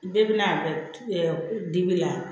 Bɛɛ bɛna dibi la